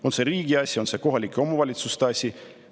On see riigi asi, on see kohalike omavalitsuste asi?